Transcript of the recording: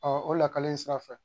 o lakali in sira fɛ